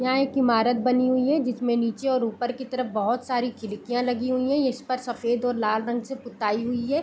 यहाँ एक ईमारत बनी हुई है जिसमें नीचे और ऊपर की तरफ़ बहुत सारी खिड़कियाँ लगी हुई हैं इस पर सफ़ेद और लाल रंग से पुताई हुई है।